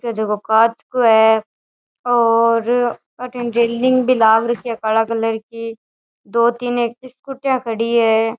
झको कांच को है और अठीने रेलिंग भी लाग रखी है काला कलर की दो तीन स्कुटिया खड़ी है।